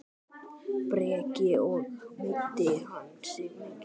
Breki: Og meiddi hann sig mikið?